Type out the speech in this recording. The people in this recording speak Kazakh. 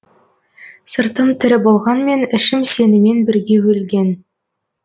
сыртым тірі болғанмен ішім сенімен бірге өлген